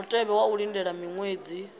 mutevhe wa u lindela miṅwedzi